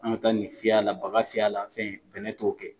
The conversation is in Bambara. A kan ka taa nin fiyɛ a la ,baga fiyɛ a la fɛn fɛn ne t'o kɛ.